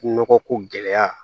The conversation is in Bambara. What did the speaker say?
Nɔgɔ ko gɛlɛya